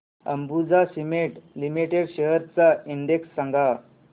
Ambuja cement limited shares चा index सांगा